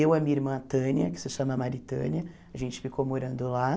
Eu e a minha irmã a Tânia, que se chama Maritânia, a gente ficou morando lá.